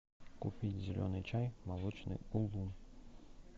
купить зеленый чай молочный улун